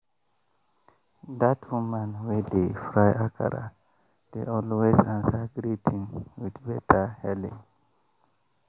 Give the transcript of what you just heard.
dat woman wey dey fry akara dey always answer greeting with beta hailing.